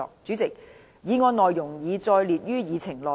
主席，議案內容已載列於議程內。